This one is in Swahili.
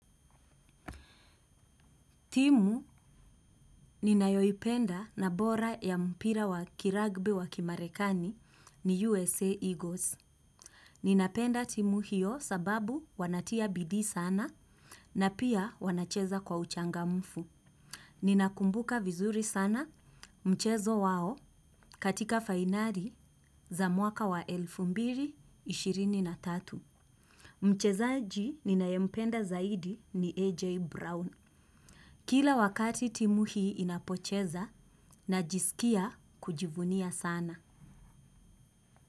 Timu ninayoipenda na bora ya mpira wa kiragbi wa kimarekani ni USA Eagles. Ninapenda timu hiyo sababu wanatia bidii sana na pia wanacheza kwa uchangamfu. Ninakumbuka vizuri sana mchezo wao katika fainari za mwaka wa elfu mbili na ishirini na tatu. Mchezaji ninayopenda zaidi ni AJ Brown. Kila wakati timu hii inapocheza najisikia kujivunia sana.